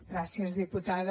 gràcies diputada